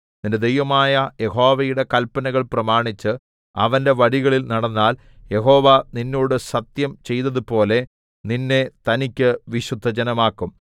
നിന്റെ ദൈവമായ യഹോവയുടെ കല്പനകൾ പ്രമാണിച്ച് അവന്റെ വഴികളിൽ നടന്നാൽ യഹോവ നിന്നോട് സത്യം ചെയ്തതുപോലെ നിന്നെ തനിക്ക് വിശുദ്ധജനമാക്കും